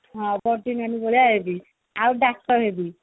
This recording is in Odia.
ହଁ ଦନ୍ତୀ ନାନି ଭଳିଆ ହେବି ଆଉ ହେବି